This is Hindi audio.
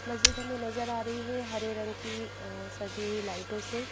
मस्जिद हमें नजर आ रही है हरे रंग की सजी हुई लाइटों से।